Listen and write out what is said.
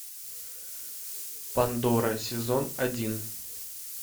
пандора сезон один